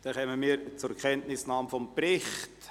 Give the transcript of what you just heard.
Dann kommen wir zur Kenntnisnahme des Berichts.